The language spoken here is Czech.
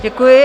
Děkuji.